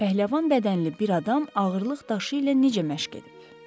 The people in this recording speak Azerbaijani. Pəhləvan bədənli bir adam ağırlıq daşı ilə necə məşq edib?